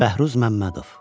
Bəhruz Məmmədov.